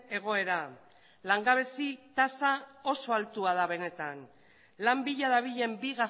egoera langabezi tasa oso altua da benetan lan bila dabilen bi